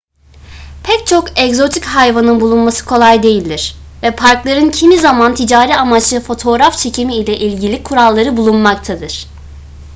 pek çok egzotik hayvanın bulunması kolay değildir ve parkların kimi zaman ticari amaçlı fotoğraf çekimi ile ilgili kuralları bulunmaktadır